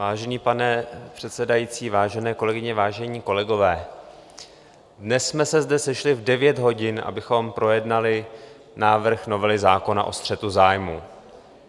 Vážený pane předsedající, vážené kolegyně, vážení kolegové, dnes jsme se zde sešli v 9 hodin, abychom projednali návrh novely zákona o střetu zájmů.